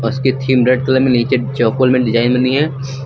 उसके theme red colour में नीचे चॉकोल में डिजाइन बनी है।